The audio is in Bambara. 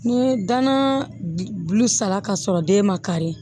Ni danan bulu sara ka sɔrɔ den ma kari